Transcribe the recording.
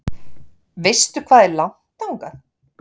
Veistu hvað er langt þangað?